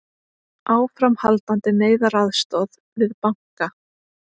Áframhaldandi neyðaraðstoð við banka